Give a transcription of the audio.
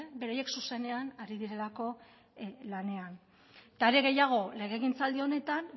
beraiek zuzenean ari direlako lanean are gehiago legegintzaldi honetan